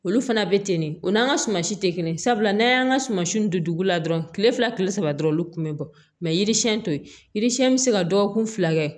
Olu fana bɛ ten de o n'an ka suma si tɛ kelen sabula n'an y'an ka sumansiw don dugu la dɔrɔn kile fila kile saba dɔrɔn olu kun bɛ bɔ mɛ yiri siɲɛ to ye yiri siɲɛn bɛ se ka dɔgɔkun fila kɛ